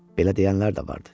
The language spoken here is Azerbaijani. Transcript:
Belə deyənlər də vardı.